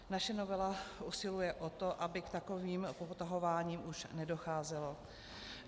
Naše novela usiluje o to, aby k takovým popotahováním už nedocházelo.